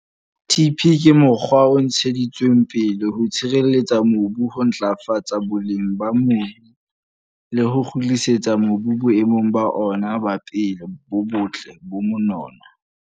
TP ke mokgwa o ntsheditsweng pele ho tshireletsa mobu, ho ntlafatsa boleng ba mebu le ho kgutlisetsa mobu boemong ba ona ba pele, bo botle, ba monono.